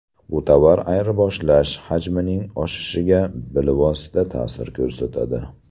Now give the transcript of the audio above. Bu tovar ayirboshlash hajmining o‘sishiga bilvosita ta’sir ko‘rsatadi.